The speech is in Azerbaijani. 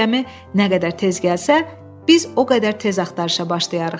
Gəmi nə qədər tez gəlsə, biz o qədər tez axtarışa başlayarıq.